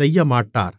செய்யமாட்டார்